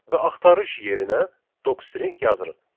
Və axtarış yerinə docstring yazırıq.